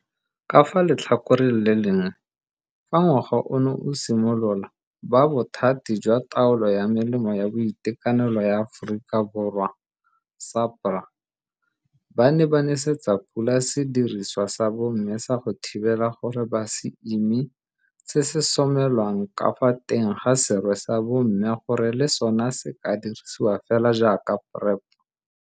Ka fa letlhakoreng le lengwe, fa ngwaga ono o simolola ba Bothati jwa Taolo ya Melemo ya Boitekanelo ya Aforika Borwa, SAHPRA, ba ne ba nesetsa pula sedirisiwa sa bomme sa go thibela gore ba se ime se se somelwang ka fa teng ga serwe sa bomme gore le sona se ka dirisiwa fela jaaka PrEP.